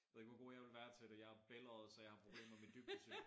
Ved ikke hvor god jeg ville være til det jeg er bælgøjet så jeg har problemer med dybdesyn